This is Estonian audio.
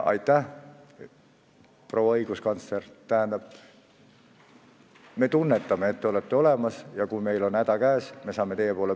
See on minu jaoks ülim, et ma tean, et te olete olemas, mis siis, et ma teid enamasti ei näe.